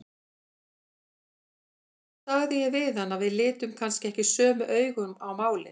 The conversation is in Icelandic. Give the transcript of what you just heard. Þá sagði ég við hann að við litum kannski ekki sömu augum á málin.